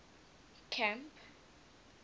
camp